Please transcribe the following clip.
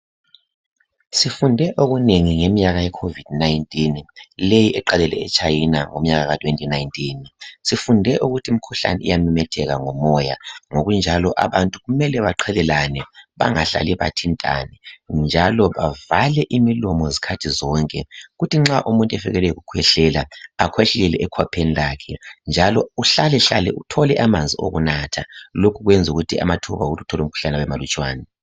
Sifunde okunengi ngeminyaka yeCovid 19.Leyi eqalele eChina, ngomnyaka ka2019. Sifunde ukuthi imikhuhlane iyamemetheka ngomoya. Ngokunjalo abantu kumele beqhelelane. Bangahlali bathintane, njalo bavale imilomo zikhathi zonke. Kuthi nxa umuntu efikelwe yikukhwehlela, akhwehlele ekhwapheni lakhe, njalo uhlalahlale uthole amanzi okunatha. Lokhu kwenza ukuthi amathuba okuthi uthole umkhuhlane abemalutshwana.